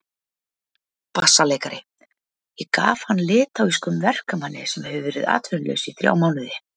BASSALEIKARI: Ég gaf hann litháískum verkamanni sem hefur verið atvinnulaus í þrjá mánuði.